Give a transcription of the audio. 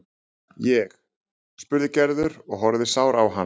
Ég? spurði Gerður og horfði sár á hann.